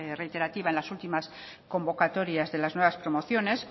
reiterativa en las últimas convocatorias de las nuevas promociones